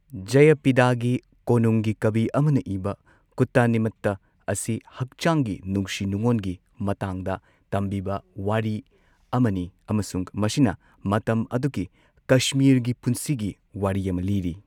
ꯖꯌꯄꯤꯗꯥꯒꯤ ꯀꯣꯅꯨꯡꯒꯤ ꯀꯕꯤ ꯑꯃꯅ ꯏꯕ ꯀꯨꯠꯇꯥꯅꯤꯃꯇ ꯑꯁꯤ ꯍꯛꯆꯥꯡꯒꯤ ꯅꯨꯡꯁꯤ ꯅꯨꯡꯑꯣꯟꯒꯤ ꯃꯇꯥꯡꯗ ꯇꯝꯕꯤꯕ ꯋꯥꯔꯤ ꯑꯃꯅꯤ ꯑꯃꯁꯨꯡ ꯃꯁꯤꯅ ꯃꯇꯝ ꯑꯗꯨꯒꯤ ꯀꯁꯃꯤꯔꯒꯤ ꯄꯨꯟꯁꯤꯒꯤ ꯋꯥꯔꯤ ꯑꯃ ꯂꯤꯔꯤ꯫